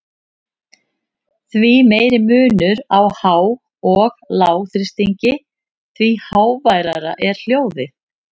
Því meiri munur á há- og lágþrýstingi, því háværara er hljóðið.